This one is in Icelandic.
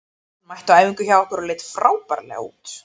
Hann mætti á æfingu hjá okkur og leit frábærlega út.